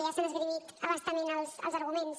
ja se n’han esgrimit a bastament els arguments